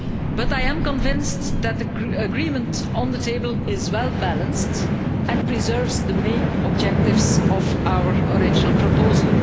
But I am convinced that the agreement on the table is well balanced and preserves the main objectives of our original proposal.